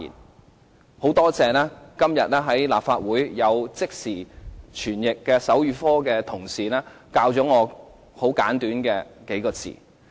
我十分感謝今天在立法會的手語即時傳譯同事教授我很簡短的幾個字。